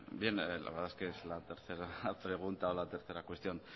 la verdad es que es la tercera pregunta o la tercera cuestión